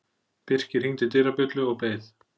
Birkir hringdi dyrabjöllu og beið.